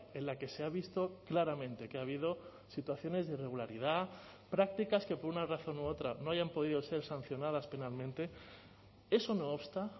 en la que se ha visto claramente que ha habido situaciones de irregularidad prácticas que por una razón u otra no hayan podido ser sancionadas penalmente eso no obsta